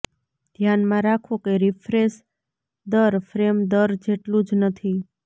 ધ્યાનમાં રાખો કે રીફ્રેશ દર ફ્રેમ દર જેટલું જ નથી